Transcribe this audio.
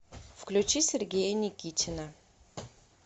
включи сергея никитина